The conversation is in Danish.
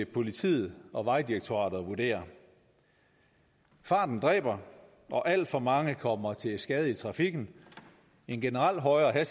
politiet og vejdirektoratet at vurdere farten dræber og alt for mange kommer til skade i trafikken en generelt højere